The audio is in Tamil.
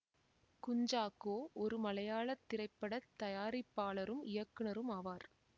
குஞ்சாக்கோ ஒரு மலையாள திரைப்பட தயாரிப்பாளரும் இயக்குனரும் ஆவார்